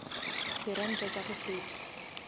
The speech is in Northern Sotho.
di ranta tša go feta